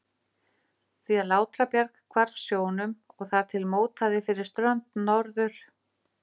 því að Látrabjarg hvarf sjónum og þar til mótaði fyrir strönd Norður-